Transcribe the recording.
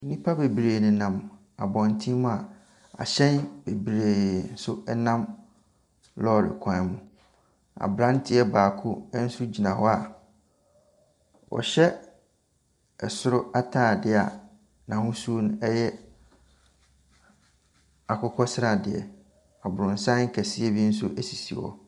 Nnipa bebree nenam abɔntene mu a ahyɛn bebree nso nam lɔɔre kwan ho. Aberanteɛ baako nso gyina hɔ a ɔhyɛ ɛsoro atadeɛ a n'ahosuo no yɛ akokɔsradeɛ. Aborosan kɛseɛ bi nso sisi hɔ.